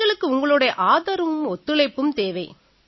எங்களுக்கு உங்களோட ஆதரவும் ஒத்துழைப்பும் தேவை